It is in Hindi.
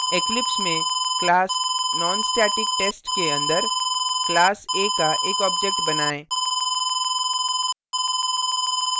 eclipse में class nonstatictest के अंदर class a का एक object बनाएँ